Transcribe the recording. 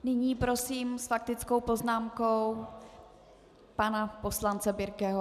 Nyní prosím s faktickou poznámkou pana poslance Birkeho.